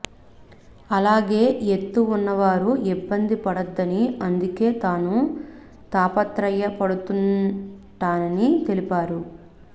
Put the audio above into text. అలాగే ఎత్తు ఉన్నవారు ఇబ్బంది పడొద్దని అందుకే తాను తాపత్రాయ పడుతుంటానని తెలిపారు